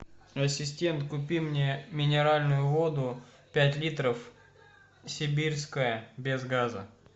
ассистент купи мне минеральную воду пять литров сибирская без газа